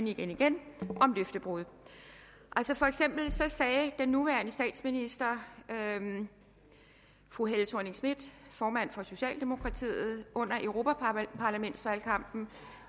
igen igen løftebrud for eksempel sagde den nuværende statsminister fru helle thorning schmidt formanden for socialdemokratiet under europaparlamentsvalgkampen